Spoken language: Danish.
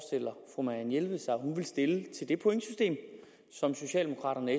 marianne jelved sig at hun ville stille til det pointsystem som socialdemokraterne